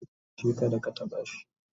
tace dashi kada ka taɓa shi!"